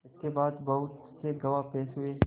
इसके बाद बहुत से गवाह पेश हुए